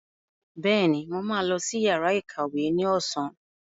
Bẹ́ẹ̀ni, mo ma lọ sí yàrá ìkàwé ní ọ̀sán